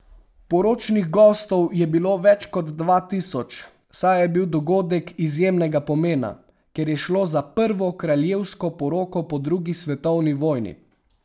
Poročnih gostov je bilo več kot dva tisoč, saj je bil dogodek izjemnega pomena, ker je šlo za prvo kraljevsko poroko po drugi svetovni vojni.